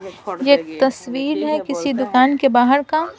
यह एक तस्वीर है किसी दुकान के बाहर का--